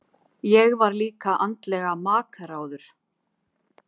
Ég var líka andlega makráður.